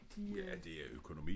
De øh